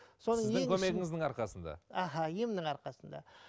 сіздің көмегіңіздің арқасында аха емнің арқасында